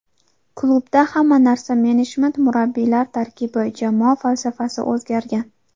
Klubda hamma narsa menejment, murabbiylar tarkibi, jamoa falsafasi o‘zgargan.